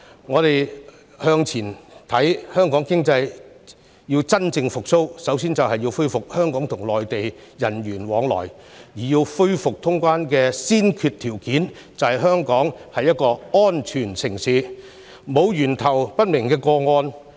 展望未來，香港經濟要真正復蘇，首先要恢復香港和內地人員往來；而恢復通關的先決條件，便是香港是一個安全城市，沒有源頭不明的個案。